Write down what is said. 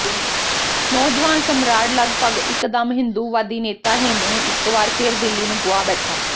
ਨੌਜਵਾਨ ਸਮਰਾਟ ਲਗਭਗ ਇਕਦਮ ਹਿੰਦੂਵਾਦੀ ਨੇਤਾ ਹੇਮੂ ਨੂੰ ਇਕ ਵਾਰ ਫਿਰ ਦਿੱਲੀ ਨੂੰ ਗੁਆ ਬੈਠਾ